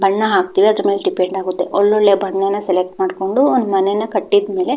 ಬಣ್ಣ ಹಾಕುತೀವಿ ಅದರ ಮೇಲೆ ಡಿಪೆಂಡ್ ಆಗುತ್ತದೆ ಒಳ್ಳೆ ಒಳ್ಳೆ ಬಣ್ಣನ್ನ ಸೆಲೆಕ್ಟ್ ಮಾಡುಕೊಂಡು ಒಂದು ಮನೆ ನ ಕಟ್ಟಿದ್ ಮೇಲೆ --